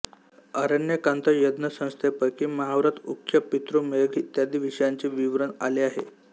आरण्यकांत यज्ञसंस्थेपैकी महाव्रत उख्य पितृमेध इत्यादी विषयांचे विवरण आले आहे